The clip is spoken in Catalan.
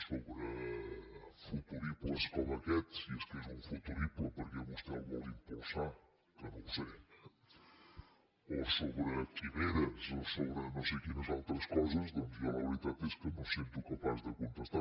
sobre futuribles com aquest si és que és un futurible perquè vostè el vol impulsar que no ho sé o sobre quimeres o sobre no sé quines altres coses doncs jo la veritat és que no em sento capaç de contestar